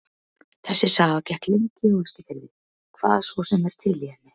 Þessi saga gekk lengi á Eskifirði, hvað svo sem er til í henni.